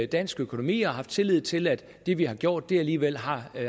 dansk økonomi og har haft tillid til at det vi har gjort alligevel har